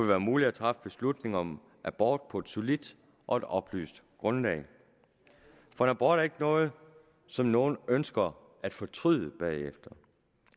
være muligt at træffe beslutning om abort på et solidt og et oplyst grundlag for en abort er ikke noget som nogen ønsker at fortryde bagefter